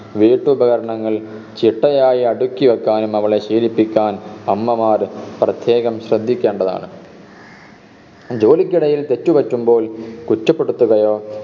വീട്ടുപകരണങ്ങൾ ചിട്ടയായി അടുക്കിവെക്കാനും അവളെ ശീലിപ്പിക്കാൻ അമ്മമാർ പ്രത്യേകം ശ്രദ്ധിക്കേണ്ടതാണ് ജോലിക്കിടയിൽ തെറ്റുപറ്റുമ്പോൾ കുറ്റപ്പെടുത്തുകയോ